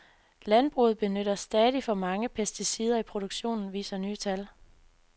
Landbruget benytter stadig for mange pesticider i produktionen, viser nye tal.